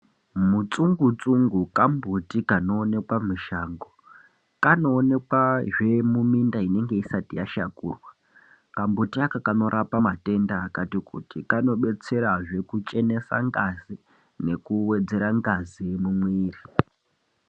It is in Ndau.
Mutsungu tsungu kambuti kanoonekwa mushango kanoonekwazve muminda inenge isati yashakurwa kambuti aka kanorapa matenda akati kuti kanodetserazve kuchenesa ngazi nekuwedzera ngazi mumuviri.